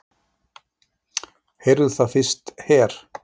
Heyrðuð það fyrst her!